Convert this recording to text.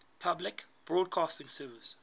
public broadcasting service